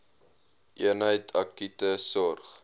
eenheid akute sorg